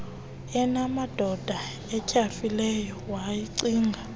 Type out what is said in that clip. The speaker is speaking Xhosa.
enamadolo atyhafileyo wayicinga